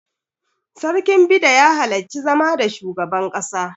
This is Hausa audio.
Sarkin Bida ya halarci zama da shugaban ƙasa.